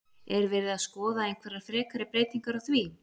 Er verið að skoða einhverjar frekari breytingar á því?